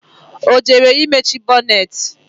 Ọ jere imechi bonneti